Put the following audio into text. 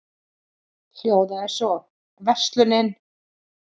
hljóðað svo: Verslunin